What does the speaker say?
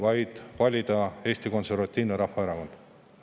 Valida Eesti Konservatiivne Rahvaerakond.